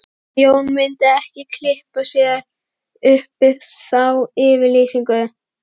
En Jón myndi ekki kippa sér upp við þá yfirlýsingu